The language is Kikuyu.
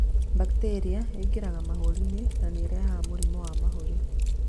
Bacteria ĩngĩraga mahũrinĩ na nĩrehaga mũrimũ wa mahũri.